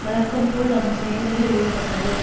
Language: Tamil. வழக்கம் போல் அதன் செயல்களில் ஈடுபட்டது